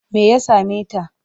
Me ya same ta?